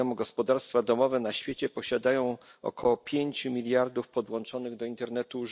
Jak wiadomo, gospodarstwa domowe na świecie posiadają około pięciu miliardów urządzeń podłączonych do internetu.